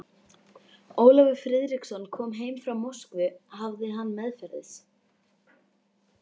Ólafur Friðriksson kom heim frá Moskvu hafði hann meðferðis